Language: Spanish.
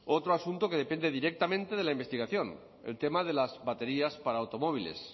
otro asunto que depende directamente de la investigación el tema de las baterías para automóviles